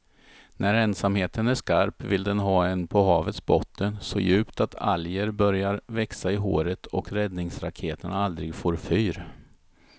När ensamheten är skarp vill den ha en på havets botten så djupt att alger börjar växa i håret och räddningsraketerna aldrig får fyr.